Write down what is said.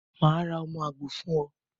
Màá ra ọmọ àgbò fún o